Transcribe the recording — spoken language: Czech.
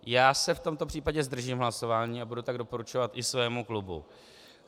Já se v tomto případě zdržím hlasování a budu to doporučovat i svému klubu.